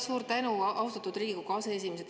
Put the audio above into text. Suur tänu, austatud Riigikogu aseesimees!